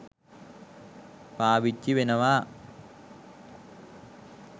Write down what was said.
පාවිච්චි වෙනවා.